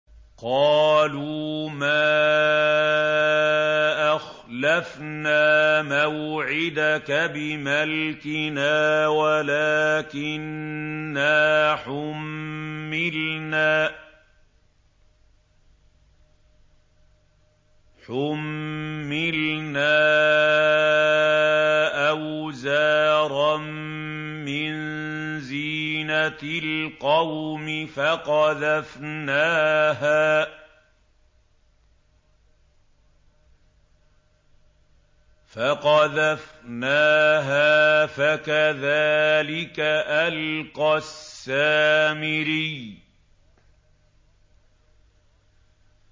قَالُوا مَا أَخْلَفْنَا مَوْعِدَكَ بِمَلْكِنَا وَلَٰكِنَّا حُمِّلْنَا أَوْزَارًا مِّن زِينَةِ الْقَوْمِ فَقَذَفْنَاهَا فَكَذَٰلِكَ أَلْقَى السَّامِرِيُّ